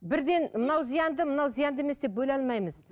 бірден мынау зиянды мынау зиянды емес деп бөле алмаймыз